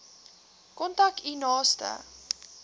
kontak u naaste